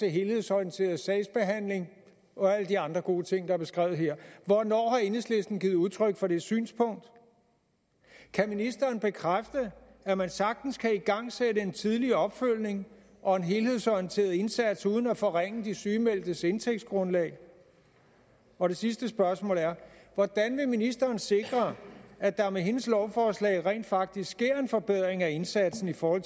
helhedsorienteret sagsbehandling og alle de andre gode ting der er beskrevet her hvornår har enhedslisten givet udtryk for det synspunkt kan ministeren bekræfte at man sagtens kan igangsætte en tidligere opfølgning og en helhedsorienteret indsats uden at forringe de sygemeldtes indtægtsgrundlag og det sidste spørgsmål er hvordan vil ministeren sikre at der med hendes lovforslag rent faktisk sker en forbedring af indsatsen for